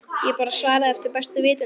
Ég bara svaraði eftir bestu vitund